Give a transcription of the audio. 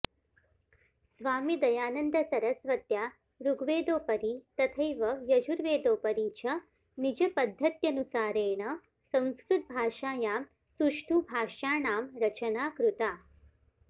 स्वामिदयानन्दसरस्वत्या ऋग्वेदोपरि तथैव यजुर्वेदोपरि च निजपद्धत्यनुसारेण संस्कृतभाषायां सुष्ठु भाष्याणां रचना कृता